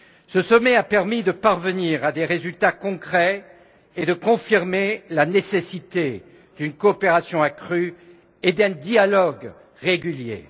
Ce sommet a permis de parvenir à des résultats concrets et de confirmer la nécessité d'une coopération accrue, et d'un dialogue régulier.